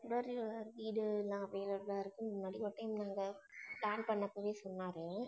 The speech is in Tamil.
வீடு எல்லாம் available ஆ plan பண்ணினப்போவே சொன்னாரு.